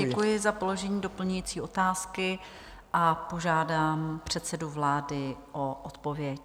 Děkuji za položení doplňující otázky a požádám předsedu vlády o odpověď.